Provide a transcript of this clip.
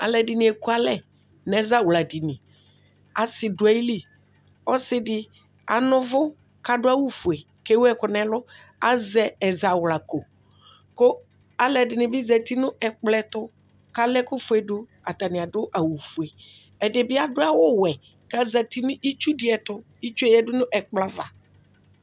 Alʋ ɛdini ekʋ alɛ nʋ ɛzawladini asi dʋ ayil ɔsidi anɛ ʋvʋ adʋ awʋfue kʋ ewʋ ɛkʋ nʋ ɛlʋ azɛ ɛzawlako kʋ alʋ ɛdini bi zati nʋ ɛkplɔ ɛtʋ lʋ ala ɛkʋfuedʋ atani adʋ awʋfue ɛdibi adʋ awʋwɛ kʋ azati nʋ itsu diɛtʋ itsue yadʋ nʋ ɛkplɔ ava